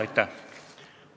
Aitäh!